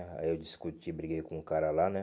Aí eu discuti, briguei com o cara lá, né?